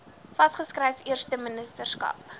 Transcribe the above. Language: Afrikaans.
vas geskryf eersteministerskap